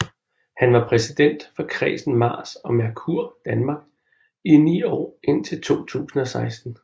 Han var præsident for Kredsen Mars og Merkur Danmark i ni år indtil 2016